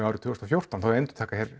árið tvö þúsund og fjórtán þau endurtaka hér